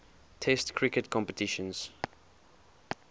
test cricket competitions